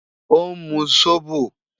Ó ń mu sóbò